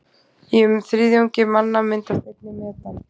í um þriðjungi manna myndast einnig metan